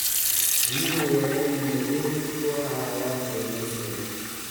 Biyuhu waa inay nadiif u ahaadaan kalluumaysiga.